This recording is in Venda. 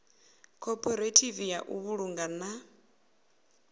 khophorethivi ya u vhulunga na